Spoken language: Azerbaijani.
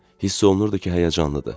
Hiss olunurdu ki, həyəcanlıdır.